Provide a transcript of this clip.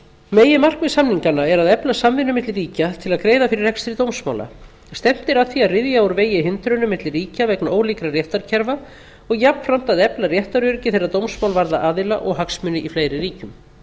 meginmarkmið samninganna er að efla samvinnu milli ríkja til að greiða fyrir rekstri dómsmála stefnt er að því að ryðja úr vegi hindrunum milli ríkja vegna ólíkra réttarkerfa og jafnframt að efla réttaröryggi þegar dómsmál varða aðila og hagsmuni í fleiri ríkjum samningurinn frá